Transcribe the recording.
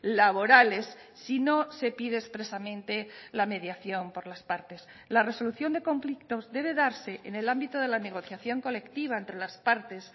laborales si no se pide expresamente la mediación por las partes la resolución de conflictos debe darse en el ámbito de la negociación colectiva entre las partes